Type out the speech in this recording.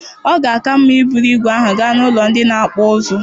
Ọ ga-aka mma iburu ígwè ahụ gaa n'ụlọ ndị na-akpụ ụzụ